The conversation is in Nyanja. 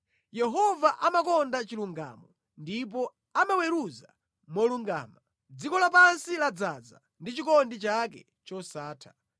Yehova amakonda chilungamo ndipo amaweruza molungama; dziko lapansi ladzaza ndi chikondi chake chosatha.